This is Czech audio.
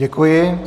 Děkuji.